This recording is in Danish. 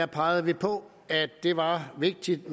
pegede vi på at det var vigtigt